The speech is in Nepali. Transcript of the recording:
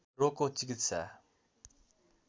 रोगको चिकित्सा